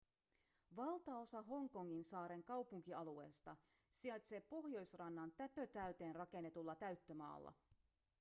valtaosa hongkongin saaren kaupunkialueesta sijaitsee pohjoisrannan täpötäyteen rakennetulla täyttömaalla